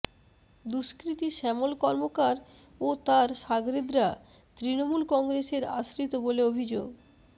দুষ্কৃতী শ্যামল কর্মকার ও তার শাগরেদরা তৃণমূল কংগ্রেসের আশ্রিত বলে অভিযোগ